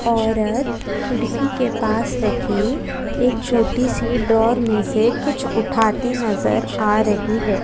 औरत खिड़की के पास रखी एक छोटी सी डोर में से कुछ उठाती नजर आ रही है।